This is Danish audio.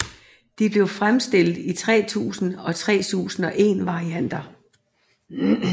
De blev fremstillet i 3000 og 3001 varianter